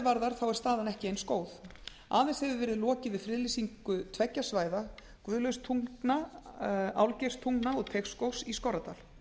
varðar þá er staðan ekki eins góð aðeins hefur verið lokið við friðlýsingu tveggja svæða guðlaugstungna álfgeirstungna og teigsskógs í skorradal